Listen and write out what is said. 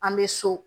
An bɛ so